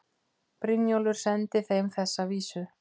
Brynjólfur sendi þeim þessa vísu